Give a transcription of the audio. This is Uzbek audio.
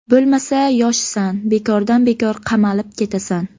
Bo‘lmasa, yoshsan, bekordan bekor qamalib ketasan.